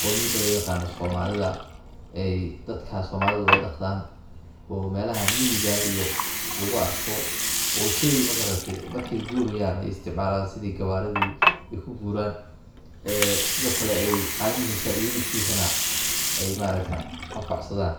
qawmiyada loo yaqaano somalida ee dadka somalidu ay dhaqdaan oo melaha miyigaa iyo lagu arko oo sheyga magarate marki ay gurayaan ay isticmalaan sidi gawaaridii ay ku guraan sidoo kale ay caanihiisa iyo hilibkiisana ay maaragte ay anfac sadaan .